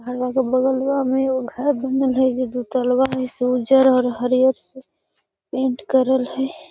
घरवा के बगलवा में एगो घर बनल है जे दुतल्वा है से उज्जर और हरियर से पेंट करल हई |